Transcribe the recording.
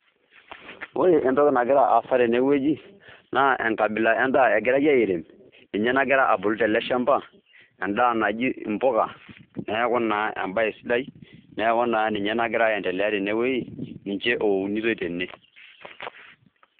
Ore entoki nagira aasa tene wueji naa enkabila endaa egirai airem, ninye nagira abulu tele shamba endaa naji impuka, neeku naa embae sidai neeku naa ninye nagira aindelea tene wueji ninje eunitoi tene.